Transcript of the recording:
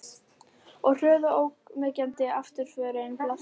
Og hröð og ógnvekjandi afturförin blasti við.